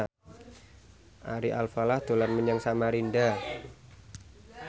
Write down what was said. Ari Alfalah dolan menyang Samarinda